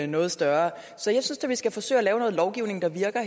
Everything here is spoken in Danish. noget større så jeg synes da at vi skal forsøge at lave noget lovgivning der virker